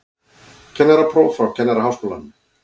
Kennarapróf frá Kennaraháskólanum